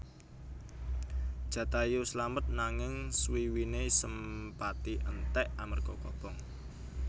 Jatayu slamet nanging swiwiné Sempati entèk amarga kobong